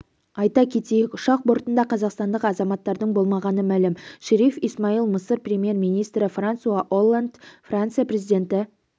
айта кетейік ұшақ бортында қазақстандық азаматтардың болмағаны мәлім шериф исмаил мысыр премьер-министрі франсуа олланд франция президенті